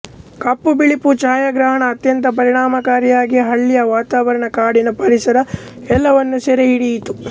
ಕಪ್ಪು ಬಿಳುಪು ಛಾಯಾಗ್ರಹಣ ಅತ್ಯಂತ ಪರಿಣಾಮಕಾರಿಯಾಗಿ ಹಳ್ಳಿಯ ವಾತಾವರಣ ಕಾಡಿನ ಪರಿಸರ ಎಲ್ಲವನ್ನೂ ಸೆರೆ ಹಿಡಿಯಿತು